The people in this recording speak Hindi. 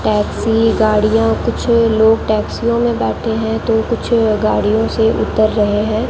टैक्सी गाड़ियां कुछ लोग टैक्सियों में बैठे हैं तो कुछ गाड़ियों से उतर रहे हैं।